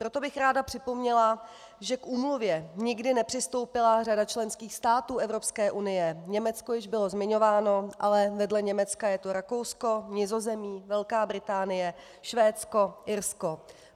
Proto bych ráda připomněla, že k úmluvě nikdy nepřistoupila řada členských států EU, Německo již bylo zmiňováno, ale vedle Německa je to Rakousko, Nizozemí, Velká Británie, Švédsko, Irsko.